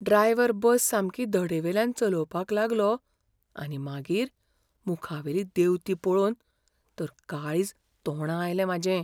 Driver बस सामकी धडेवेल्यान चलोवपाक लागलो आनी मागीर मुखावेली देंवती पळोवन तर काळीज तोंडां आयलें म्हाजें.